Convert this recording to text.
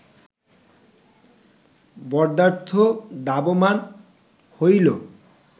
বধার্থ ধাবমান হইল